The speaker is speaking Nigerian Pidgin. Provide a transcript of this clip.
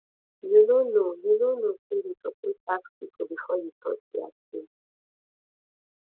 you no know you no know sey you suppose ask pipo before you touch their tin